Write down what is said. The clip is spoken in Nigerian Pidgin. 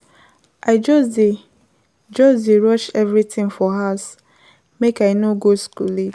I just dey just dey rush everything for house make I no go school late.